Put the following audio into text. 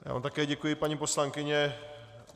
Já vám také děkuji, paní poslankyně.